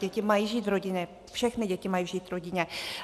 Děti mají žít v rodině, všechny děti mají žít v rodině.